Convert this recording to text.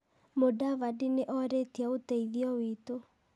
Mũdavadi nĩ orĩtie ũteithio witũ.